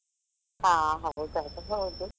ಹಾ ಹೌದು ಅದು ಹೌದು.